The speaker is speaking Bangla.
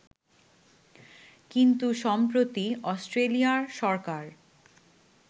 কিন্তু সম্প্রতি অষ্ট্রেলিয়ার সরকার